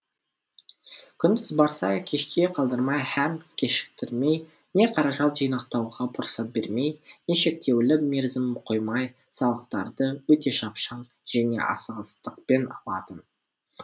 күндіз барса кешке қалдырмай һәм кешіктірмей не қаражат жинақтауға мұрсат бермей не шектеулі мерзім қоймай салықтарды өте шапшаң және асығыстықпен алатын